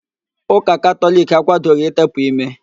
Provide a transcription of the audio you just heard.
Úkà Katọliki akwadoghi ịtepụ ímé